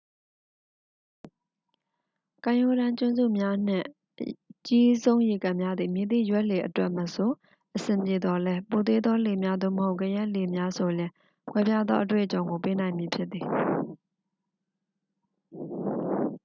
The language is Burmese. ကမ်းရိုးတမ်းကျွန်းစုများနှင့် အကြီးဆုံးရေကန်များသည် မည်သည့်ရွက်လှေအတွက်မဆို အဆင်ပြေသော်လည်း ပိုသေးသောလှေများ သို့မဟုတ် ကယက်လှေလေးများ ဆိုလျှင် ကွဲပြားသော အတွေ့အကြုံကိုပေးနိုင်မည် ဖြစ်သည်